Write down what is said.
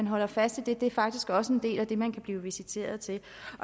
holder fast i at det faktisk også er en del af det man kan blive visiteret til